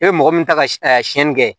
E bɛ mɔgɔ min ta ka siɲɛni kɛ